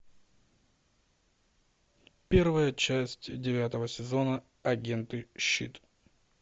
первая часть девятого сезона агенты щит